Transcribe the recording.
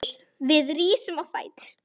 Hver var að berja?